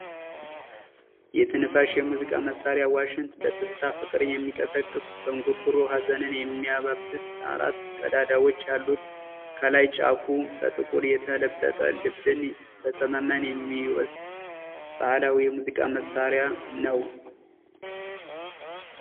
የትንፋሽ የሙዚቃ መሻሪያ ዋሽንት በትዝታ ፍቅርን የሚቀሰቅስ፤ በእንጉርጉሮ ሀዘንን የሚያባብስ፤ አራት ቀዳዳዎች ያሉት ከላይ ጫፉ በጥቁር የተለበጠ ልብን በሰመመን የሚወሰድ ባህላዊ የሙዚቃ መሳሪያ ነዉ!